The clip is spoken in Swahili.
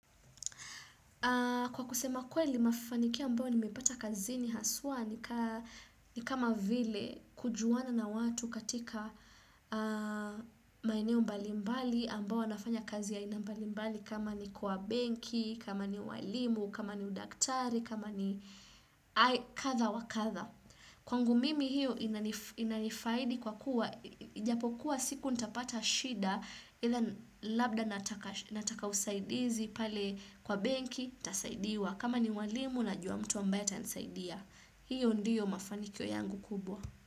Kwa kusema kweli mafanikio ambayo nimepata kazini haswa ni kama vile kujuana na watu katika maeneo mbalimbali ambao wafanya kazi ya aina mbalimbali kama ni kwa benki, kama ni walimu, kama ni udaktari, kama ni kadha wa kadha. Kwangu mimi hio inanifaidi kwa kuwa, ijapokuwa siku nitapata shida ila labda nataka usaidizi pale kwa benki, nitasaidiwa kama ni mwalimu najua mtu ambaye atansaidia. Hio ndio mafanikio yangu kubwa.